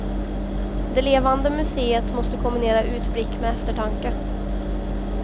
Det levande museet måste kombinera utblick med eftertanke.